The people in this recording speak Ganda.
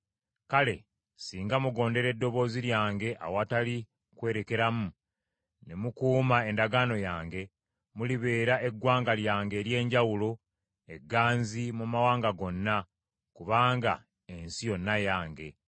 Kale, singa mugondera eddoboozi lyange awatali kwerekeramu, ne mukuuma endagaano yange, mulibeera eggwanga lyange ery’enjawulo egganzi mu mawanga gonna, kubanga ensi yonna yange.